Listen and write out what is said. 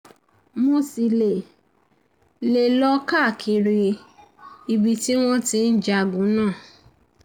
mo um ṣì lè um lè um lọ káàkiri ibi tí wọ́n ti ń jagun náà um